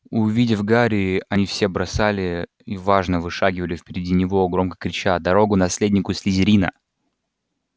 увидев гарри они все бросали и важно вышагивали впереди него громко крича дорогу наследнику слизерина